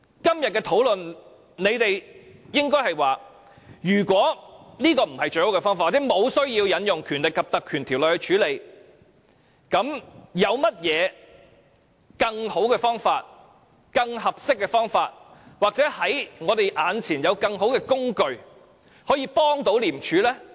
今天這項討論，若說這不是最好的方法或無需引用《條例》處理，你們也應該提出有何更好、更合適的方法或我們眼前有何更好的工具，可以協助廉署。